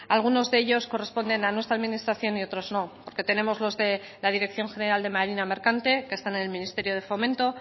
algunos de ellos corresponden a nuestra administración y otros no porque tenemos la dirección general de marina mercante que están en el ministerio de fomento